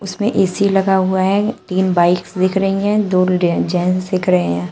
इसमें ए_सी लगा हुआ है तीन बाइक्स दिख रही हैं जो ले जेंट्स दिख रहे हैं।